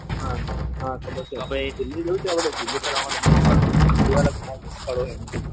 હા હા ખબર છે તો આપણે દિલ્હી ફરવા માટે દિલ્હી જોવાલાયક ઘણા બધા સ્થળો છે.